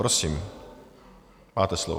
Prosím, máte slovo.